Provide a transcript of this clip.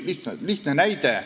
Mul on lihtne näide.